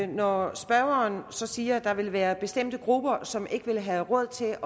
når spørgeren siger at der vil være bestemte grupper som ikke vil have råd til